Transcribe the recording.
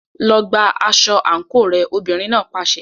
Lọ gba aṣọ àǹkóò rẹ, obìnrin náà pàṣẹ.